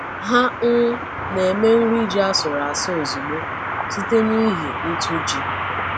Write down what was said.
Ha um na-eme nri ji asụrụ asụ ozugbo site n’ihi ntụ ji.